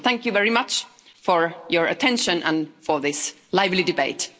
Thank you very much for your attention and for this lively debate.